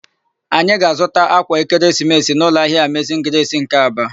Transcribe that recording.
Anyị ga-azụta ákwà ekeresimesi n'ụlọahịa Amezin Gresi nke Aba.